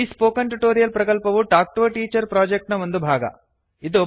ಈ spoken tutorial ಪ್ರಕಲ್ಪವು talk to a teacher project ನ ಒಂದು ಭಾಗ